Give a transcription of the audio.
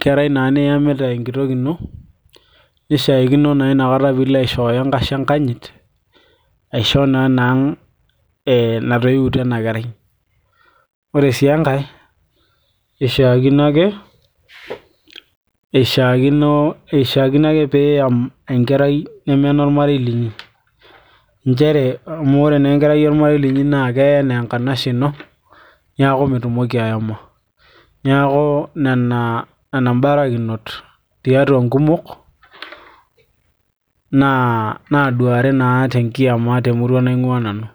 kerai naa niyamita enkitok ino nishaikino naa inakata piilo aishooyo enkashe enkanyit aisho naa enang natoiwutuo ena kerai ore sii enkay ishiakino ake piiyam enkerai neme enormarei linyi nchere amu ore naa enkerai ormarei linyi naa keyai enaa enkanashe ino niaku mitumoki ayama niaku nena imbarakinot tiatua inkumok naaduari naa tenkiama temurua naing'ua nanu.